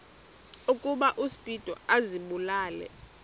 ukuba uspido azibulale